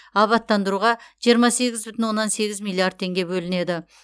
абаттандыруға жиырма сегіз бүтін оннан сегіз миллиард теңге бөлінеді